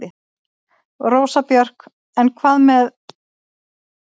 Rósa Björk: En hvað með.